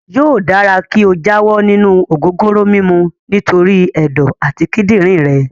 Yóò dára kí o jáwọ́ nínú ògógóró mímu nítorí ẹ̀dọ̀ àti kídìrín rẹ.